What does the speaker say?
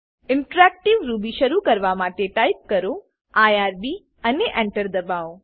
interactive Ruby શરુ કરવા માટે ટાઈપ કરો આઇઆરબી અને Enter દબાઓ